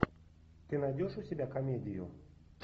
ты найдешь у себя комедию